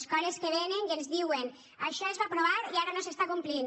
escoles que vénen i ens diuen això es va aprovar i ara no es compleix